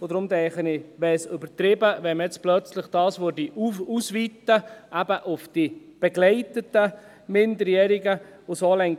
Aus diesem Grund denke ich, dass es übertrieben wäre, dies plötzlich auf die begleiteten Minderjährigen auszuweiten.